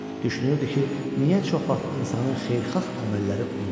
Düşünürdü ki, niyə çox vaxt insanın xeyirxah əməlləri unudulur?